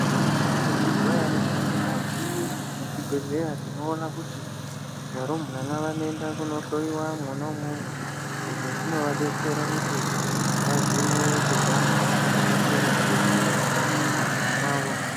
Makambozvizwa here kuti mukati mezvibhedlera tinoona kuti varumbwana vanoenda kuno hloyiwa mwuna mumwo izvi zvinovabetsera kuti vazhinwe kubva mumhosva dzakasiyana siyana ndaramo mwawo